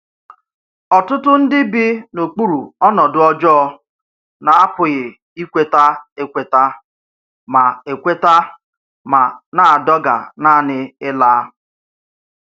Ọ́tùtù̀ ndí bi n’okpuru ọnọdụ ọ́jọọ̀ na-apụghị ikweta ekwètà ma ekwètà ma na-àdọ̀gà nànị̀ ịlá